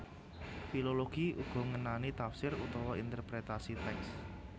Filologi uga ngenani tafsir utawa interpretasi tèks